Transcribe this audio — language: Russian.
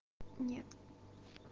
нет